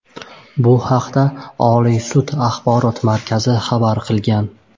Bu haqda Oliy sud axborot xizmati xabar qilgan .